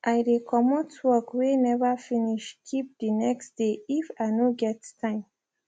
i de comot work wey never finish keep de next dey if i no get time